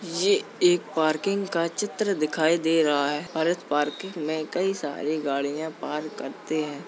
ये एक पार्किंग का चित्र दिखाई दे रहा है और इस पार्किंग में कई सारी गाड़ियाॅं पार्क करते है।